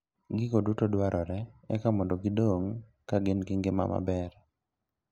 Gigo duto dwarore eka mondo gidong ka gin gi ngima maber.